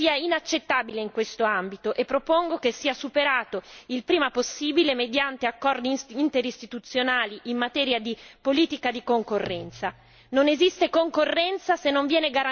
Ritengo che il deficit democratico sia inaccettabile in questo ambito e propongo che sia superato il prima possibile mediante accordi interistituzionali in materia di politica di concorrenza.